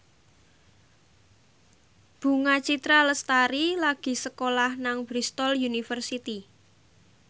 Bunga Citra Lestari lagi sekolah nang Bristol university